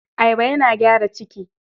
Ayaba yana gyara ciki.